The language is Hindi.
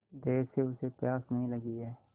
देर से उसे प्यास नहीं लगी हैं